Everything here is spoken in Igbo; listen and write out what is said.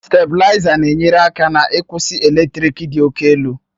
Stabilizer na-enyere aka n'ịkwụsị eletrik dị òkè elu.